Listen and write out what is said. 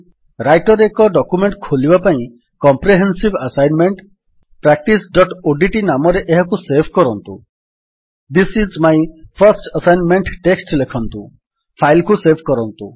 Writer ରେ ଏକ ନୂଆ ଡକ୍ୟୁମେଣ୍ଟ୍ ଖୋଲିବା ପାଇଁ କମ୍ପ୍ରେହେନ୍ସିଭ୍ ଆସାଇନମେଣ୍ଟ୍ practiceଓଡିଟି ନାମରେ ଏହାକୁ ସେଭ୍ କରନ୍ତୁ this is my first assignment text ଲେଖନ୍ତୁ ଫାଇଲ୍ କୁ ସେଭ୍ କରନ୍ତୁ